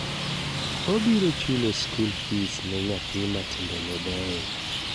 Obiro chulo skul fis ne nyathi matimbe ne beyo.